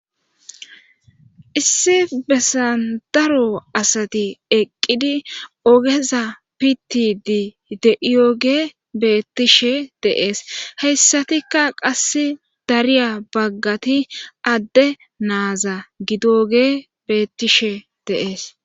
issi bessan daro asati eqqidi ogeza piti di de7iyoge beettishe deees heyssatikka qass dariya baggati adde naaza gidoge bettishe deees